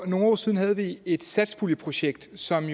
nogle år siden et satspuljeprojekt som